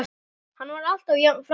Hann var alltaf jafn frábær.